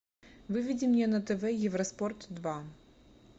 выведи мне на тв евроспорт два